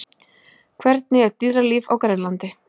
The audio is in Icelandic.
Hvernig er dýralíf á Grænlandi?